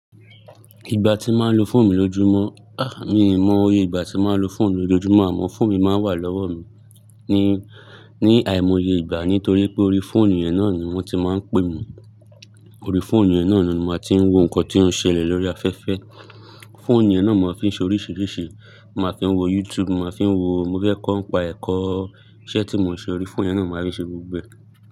Ìgbà tí n màá lo fóònù mi lójumó, à, mi ò mọ iye ìgbà tí n màá lo fóònù mi lójumó àmó fóònù mi máa ń wà lọ́wọ́ mi ní, ní àìmoye ìgbà nítorí pé orí fóònù yẹn náà ni wọ́n ti máa ń pè mi. Orí fóònù yẹn náà ni n màá ti ń wo nǹkan tí ó ń ṣẹlẹ̀ lórí afẹ́fẹ́. Fóònù yẹn náà màá fi ń ṣe oríṣìíríṣìí, n màá fi ń wo YouTube, màá fi ń wo-- mo fẹ́ kó ń pa ẹ̀kọ. Iṣẹ́ tí mò ń ṣe orí fóònù yẹn náà n màá rí ṣe gbogbo ẹ.